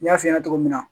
N y'a f'i ɲɛna cogo min na